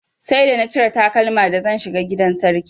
Sai da na cire takalma da zan shiga gidan sarki.